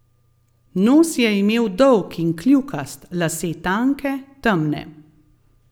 Nos je imel dolg in kljukast, lase tanke, temne.